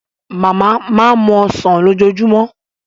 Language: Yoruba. Màmá máa ń mu Ọsàn lójoojúmọ́